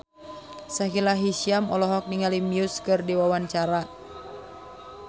Sahila Hisyam olohok ningali Muse keur diwawancara